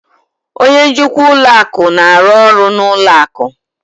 Onye njikwa ụlọ akụ na-arụ ọrụ na ụlọ akụ